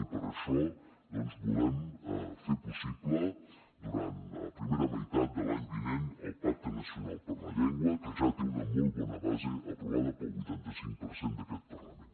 i per això volem fer possible durant la primera meitat de l’any vinent el pacte nacional per la llengua que ja té una molt bona base aprovada pel vuitanta cinc per cent d’aquest parlament